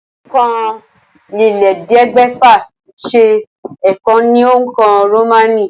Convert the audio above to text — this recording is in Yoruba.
Òǹkà ọ̀kànlélẹ́ẹ̀ẹ́dẹ́gbẹ́fà ṣe é kọ ní òǹkà Rómánì.